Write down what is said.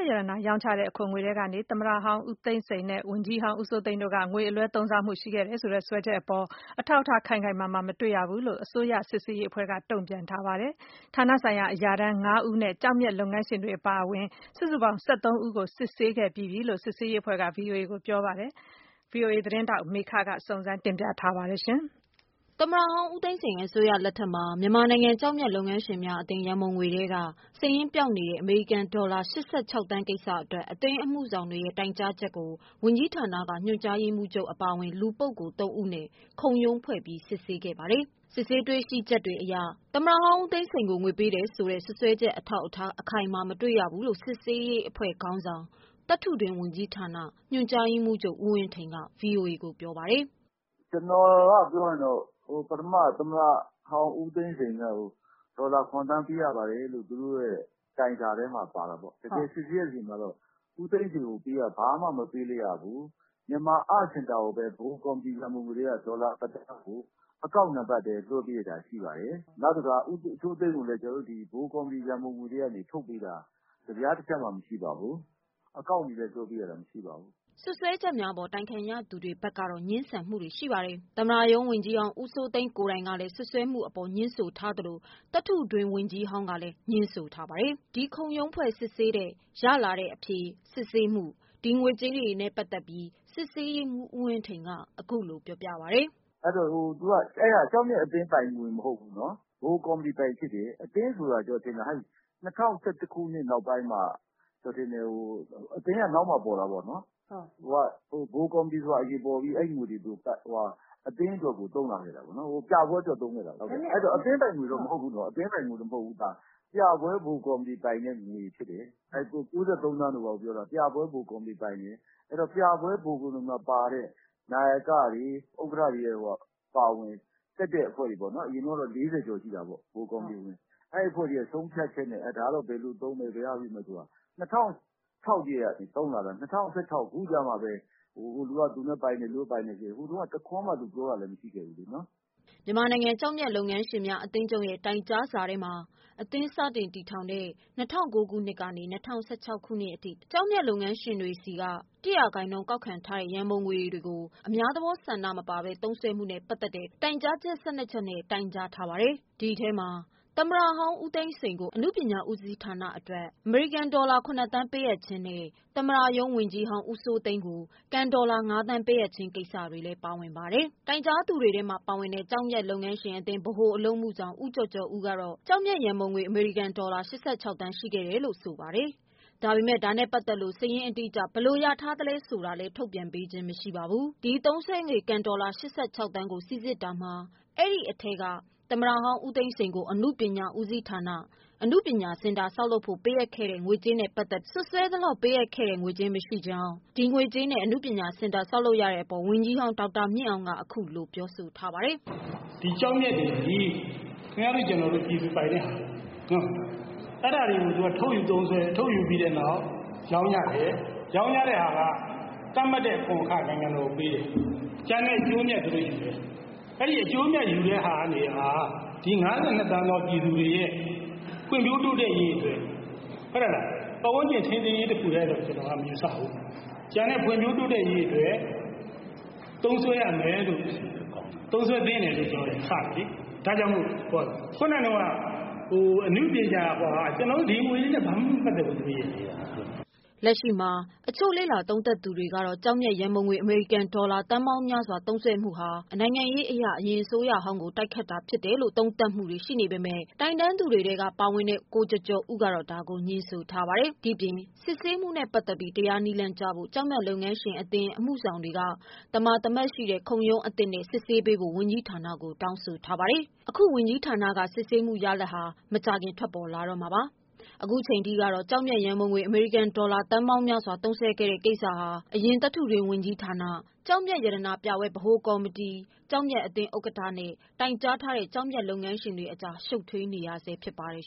က်ရတနာ ရောင်းချတဲ့ အခွန်ငွေထဲကနေ သမ္မတဟောင်းဦးသိန်းစိန်နဲ့ ဝန်ကြီးဟောင်း ဦးစိုးသိန်းတို့က ငွေအလွဲသုံးစားမှုရှိခဲ့တယ်ဆိုတဲ့ စွပ်စွဲချက်အပေါ် အထောက်အထားခိုင်ခိုင်မာမာ မတွေ့ရဘူးလို့ အစိုးရစစ်ဆေးရေးအဖွဲ့က တုန့်ပြန်ထားပါတယ်။ ဌာနဆိုင်ရာအရာထမ်း ၅ဦးနဲ့ ကျောက်မျက်လုပ်ငန်းရှင်တွေ အပါအဝင် စုစုပေါင်း ၁၃ ဦးကို စစ်ဆေးခဲ့ပြီးပြီလို့ စစ်ဆေးရေးအဖွဲ့က ဗွီအိုအေကို ပြောပါတယ်။ ဗွီအိုအေ သတင်းထောက် မမေခ စုံစမ်းမေးမြန်း ထားတာပါ။ သမ္မတဟောင်း ဦးသိန်းစိန် အစိုးရလက်ထက်မှာ မြန်မာနိုင်ငံကျောက်မျက် လုပ်ငန်းရှင်များ အသင်းရံပုံငွေထဲက စာရင်းပျောက်နေတဲ အမေရိကန်ဒေါ်လာ ၈၆ သန်း ကိစ္စအတွက် အသင်းအမှုဆောင်တွေရဲ့တိုင်ကြားချက်ကို ဝန်ကြီးဌာနက ညွှန်ကြားရေးမှူးချုပ် အပါအဝင် လူ ပုဂ္ဂိုလ် ၃ ဦးနဲ့ ခုံရုံးဖွဲ့ပြီး စစ်ဆေးခဲ့ပါ တယ်။ စစ်ဆေးချက်တွေအရ သမ္မတဟောင်းဦးသိန်းစိန်ကို ငွေပေးထားတယ်ဆိုတဲ့ စွပ်စွဲချက် အထောက်အထားအခိုင်အမာ မတွေ့ရဘူးလို့ စစ်ဆေးရေး အဖွဲ့ခေါင်းဆောင် သတ္ထုတွင်းဝန်ကြီးဌာန ညွန်ကြားရေးမှူးချုပ် ဦးဝင်းထိန်က ဗွီအိုအေကို ပြောပါတယ်။ " ကျနော်ကတော့ ပြောရရင်တော့ ပထမ သမ္မတဟောင်းဦးသိန်းစိန်လက်ကို ဒေါ်လာ ၇ သန်းပေးရပါတယ်ဆိုတဲ့ သူတို့ရဲ့တိုင်စာထဲမှာ ပါတာပေါ့။ တကယ် စစ်ဆေးတဲ့ အခါမှာတော့ ဦးသိန်းစိန်ကို ဘာမှ မပေးလိုက်ရဘူး။ Myanmar Art Center ကိုပဲ ဗဟိုကော်မတီ ရံပုံငွေအတွက်ကို ဒေါ်လာတစ်သန်းကို အကောင့်ထဲကနေ လွှဲပေးလိုက်တာ ရှိပါတယ်။ နောက်တခါ ဦးစိုးသိန်းကိုလည်း ဗဟိုကော်မတီ ရံပုံငွေထဲက ထုတ်ပေးတာ တစ်ပြားတစ်ချပ်မှ မရှိပါဘူး။ အကောင့်တွေထဲကနေ လွှဲပေးခဲ့ရတာ မရှိပါဘူး။ " စွပ်စွဲချက်များအပေါ် တိုင်ခံရသူတွေဘက်ကတော့ ငြင်းဆန်မှုတွေ ရှိပါတယ်။ သမ္မတရုံးဝန်ကြီးဟောင်း ဦးစိုးသိန်းကိုယ်တိုင်ကလည်း စွပ်စွဲမှု အပေါ် ငြင်းဆို ထားသလို သတ္ထုတွင်း ဝန်ကြီးဟောင်းကလည်း ငြင်းဆိုထားပါတယ်။ ဒီခုံရုံးဖွဲ့ စစ်ဆေးတဲ့ ရလာတဲ့အဖြေ၊ စစ်ဆေးမှု ဒီငွေကြေးနဲ့ပတ်သတ်ပြီး စစ်ဆေးရေးမှူး ဦးဝင်းထိန် က အခုလိုပြောပါတယ်။ " အဲ့တာ ကျောက်မျက်အသင်းပိုင်ငွေ မဟုတ်ဘူးနော်။ ဗဟိုကော်မတီပိုင်ဖြစ်တယ်။ အသင်းဆိုတာ ကျနော်ထင်တယ်။ ၂၀၁၁ ခုနှစ် နောက်ပိုင်းမှာ အသင်းက နောက်မှ ပေါ်တာပေါ့နော်။ ဗဟိုကော်မတီဆိုတာ အရင်ပေါ်ပြီး အသင်းအတွက် သုံးလာခဲ့တာပေါ့နော်။ ပြပွဲအတွက် သုံးခဲ့တာပေါ့နော်။ အဲ့တော့ အသင်းပိုင်ငွေတော့ မဟုတ်ဘူးနော်။ အသင်းပိုင်ငွေမဟုတ်ဘူး ဒါ။ ပြပွဲဗဟိုကော်မတီ ပိုင်တဲ့ငွေဖြစ်တယ်။ ၉၃ သန်းတို့ ဘာတို့ ပြောတာ ပြပွဲ ဗဟိုကော်မတီ ပိုင်တဲ့ငွေဖြစ်တယ်။ အဲ့တော့ ပြပွဲ ဗဟိုကော်မတီမှာ ပါတဲ့ နာယကတွေ၊ ဥက္ကဋ္ဌတွေ အပါအဝင် တက်တဲ့အဖွဲ့တွေပေါ့နော်။ အရင်တုန်းကတော့ ၄၀ ကျော်ရှိတာပေါ့ ဗဟိုကော်မတီဝင်။ အဲ့ဒီ့အဖွဲ့တွေရဲ့ဆုံးဖြတ်ချက်နဲ့ ဒါတော့ ဘယ်လိုသုံးမယ် ဘယ်လိုလုပ်မယ်ဆိုတာ။ ၂၀၀၆ ကတည်းက သုံးလာတာ ၂၀၁၆ ခုနှစ် အခုကျမှ ဟိုလူက သူပိုင်တယ် ဒီလူက သူပိုင်တယ်နဲ့ ဟိုတုန်းက သူတို့ တစ်ခွန်းမှ ပြောခဲ့ကြတာမဟုတ်ဘူးနော်။" မြန်မာနိုင်ငံ ကျောက်မျက်လုပ်ငန်းရှင်များ အသင်းချုပ်ရဲ့ တိုင်ကြားစာမှာ အသင်း စတင် တည်ထောင် သည့် ၂၀၀၉ ခုနှစ်မှ ၂၀၁၆ ခုနှစ်အထိ ကျောက်မျက်လုပ်ငန်း ရှင်များထံမှ ၁ ရာခိုင်နှုန်း ကောက်ခံထားသော ရန်ပုံငွေတွေကို အများသဘောဆန္ဒ မပါဘဲ သုံးစွဲမှုနဲ့ပတ်သက်တဲ့ တိုင်ကြားချက် ၁၂ ချက်နဲ့ တိုင်ကြားခဲ့တာပါ။ ဒီအထဲမှာ သမ္မတဟောင်း ဦးသိန်းစိန်ကို အနုပညာ ဦးစီးဌာန အတွက်ဟုဆိုကာ အမေရိကန်ဒေါ်လာ ၇ သန်းပေးအပ်ခြင်းနဲ့ သမ္မတရုံးဝန်ကြီးဟောင်း ဦးစိုးသိန်းကို ကန် ဒေါ်လာ ၅ သန်းပေးအပ်ခြင်း ကိစ္စတွေလည်း ပါတယ်။ တိုင်ကြားသူတွေထဲမှာ ပါဝင်တဲ့ ကျောက်မျက်အသင်း ဗဟိုအလုပ်အမှုဆောင် ဦးကျော်ကျော်ဦး ကတော့ ကျောက်မျက် ရန်ပုံငွေ အမေရိကန်ဒေါ်လာ ၈၆ သန်းရှိခဲ့တယ်လို့ ဆိုပါတယ်။ ဒါပေမယ့် ဒါနဲ့ပတ်သက်လို့ စာရင်းအတိအကျ ဘယ်လို ရထားသလဲ ဆိုတာလည်း ထုတ်ပြန်ခြင်းမရှိပါဘူး။ ဒီသုံးစွဲငွေ ကန်ဒေါ်လာ ၈၆သန်းကို စိစစ်တာမှာ အဲ့ဒီအထဲမှာ သမ္မတဟောင်း ဦးသိန်းစိန် ကို အနုပညာဦးစီးဌာန ဆောက်လုပ်ရန် ပေးအပ်ခဲ့တဲ့ ငွေကြေးနဲ့ ပတ်သတ်ပြီး စွပ်စွဲ သလောက် ပေးခဲ့ခြင်း မရှိကြောင်း ဒီငွေကြေးကို အနုပညာစင်တာ လုပ်ရတဲ့အပေါ် ဝန်ကြီးဟောင်း ဒေါက်တာမြင့်အောင်က ခုလို ပြောဆိုထားပါတယ်။ " ဒီကျောက်မျက်တွေသည် ခင်ဗျားတို့ ကျနော်တို့ ပြည်သူပိုင်တဲ့ဟာ။ အဲ့တာတွေကို ထုတ်ယူသုံးစွဲ၊ ထုတ်ယူပြီးတဲ့နောက် ရောင်းရတယ်။ ရောင်းရတဲ့ဟာက သတ်မှတ်တဲ့ အခွန်အခ နိုင်ငံတော်ကို ပေးတယ်။ ကျန်တဲ့ အကျိုးအမြတ် သူတို့ယူတယ်။ အဲ့ဒီ့အကျိုးအမြတ် ယူတဲ့ဟာက ဒီ ၅၂သန်းသော ပြည်သူတွေရဲ့ ဖွံ့ဖြိုးတိုးတက်ရေး အတွက် ပတ်ဝန်းကျင် ထိန်းသိမ်းရေး တခုတည်းတင် မယူဆဘူး ကျန်တဲ့ ဖွံ့ဖြိုးတိုးတက်ရေး သုံးစွဲရမယ်လို့ သုံးစွဲပေးမယ်လို့ ကျနော်တို့ကယူဆတယ်လေ ဒါကြောင့်မို့လို့ ခုနက အနုပညာစင်တာ အဲ့ဟာက ကျနော်တို့ ဒီငွေတွေနဲ့ ဘာမှ မပတ်သတ်ဘူး။ " လက်ရှိမှာ အချို့လေ့လာသုံးသပ်သူတွေကတော့ ကျောက်မျက်ရန်ပုံငွေ အမေရိကန်ဒေါ်လာ သန်းပေါင်းများစွာ သုံးစွဲမှု ကိစ္စဟာ နိုင်ငံရေး အရ အရင်အစိုးရဟောင်းကို တိုက်ခိုက်တာဖြစ်တယ်လို့ သုံးသပ်မှုတွေရှိနေပေမယ့် တိုင်တန်းသူတွေထဲက ပါဝင်တဲ့ ကိုကျော်ကျော်ဦးက တော့ ဒါကိုငြင်းဆိုထားပါတယ်။ ဒီအပြင်စစ်ဆေးမှုနဲ့ ပတ်သတ်ပြီး တရားနည်းလမ်းကျဖို့ ကျောက်မျက်လုပ်ငန်းရှင်များ အသင်း အမှုဆောင်တွေက သမာသမတ် ရှိတဲ့ခုံရုံးအသစ်နဲ့စစ်ဆေးပေးဖို့ ဝန်ကြီးဌာနကိုတောင်းဆိုထားပါတယ်။ ဒီဝန်ကြီးဌာန စစ်ဆေးမှုရလဒ်က မကြာခင်ထွက်လာတော့မှာပါ။ ခုချိန်ထိကတော့ ကျောက်မျက်ရန်ပုံငွေ အမေရိကန်ဒေါ်လာ သန်းပေါင်းများစွာ သုံးစွဲခဲ့တဲ့ ကိစ္စဟာ အရင်သတ္တုတွင်း ဝန်ကြီးဌာန၊ ကျောက်မျက်ရတနာပြပွဲ ဗဟိုကော်မတီ၊ ကျောက်မျက်အသင်း ဥက္ကဋ္ဌနဲ့ တိုင်ကြား ထားတဲ့ ကျောက်မျက်လုပ်ငန်းရှင် တွေအကြား ရှုပ်ထွေးနေဆဲဖြစ်ပါတယ်